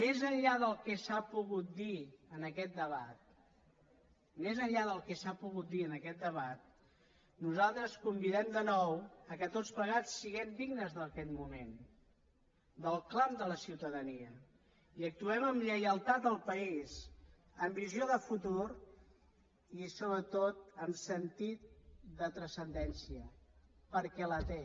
més enllà del que s’ha pogut dir en aquest debat més enllà del que s’ha pogut dir en aquest debat nosaltres convidem de nou que tots plegats siguem dignes d’aquest moment del clam de la ciutadania i actuem amb lleialtat al país amb visió de futur i sobretot amb sentit de transcendència perquè en té